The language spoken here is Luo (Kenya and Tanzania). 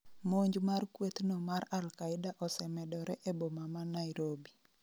monj mar kweth'no mar Alkaida osemedore e boma ma Nairobi